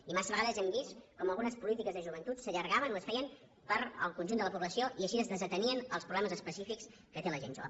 i massa vegades hem vist com algunes polítiques de joventut s’allargaven o es feien per al conjunt de la població i així es desatenien els problemes específics que té la gent jove